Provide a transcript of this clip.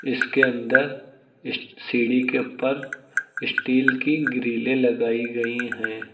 इसके अंदर इस्ट सीढ़ी के ऊपर स्टील की ग्रिलें लगाई गई हैं।